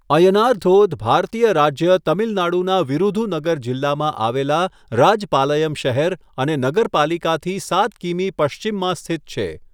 અય્યનાર ધોધ ભારતીય રાજ્ય તમિલનાડુના વિરુધુનગર જિલ્લામાં આવેલા રાજપાલયમ શહેર અને નગરપાલિકાથી 7 કિમી પશ્ચિમમાં સ્થિત છે.